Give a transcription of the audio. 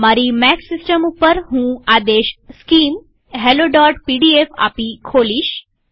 મારી Mac system ઉપરહું તે આદેશ સ્કિમ helloપીડીએફ આપી ખોલીશ